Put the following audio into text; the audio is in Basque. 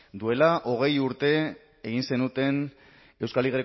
duela hogei urte egin zenuten euskal